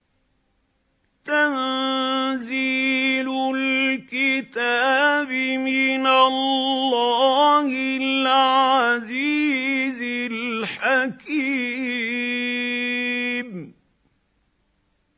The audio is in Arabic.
تَنزِيلُ الْكِتَابِ مِنَ اللَّهِ الْعَزِيزِ الْحَكِيمِ